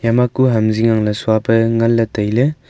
ema kue ham zing angley suape nganley tailey.